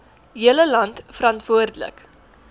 hele land verantwoordelik